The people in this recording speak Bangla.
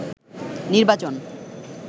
নির্বাচন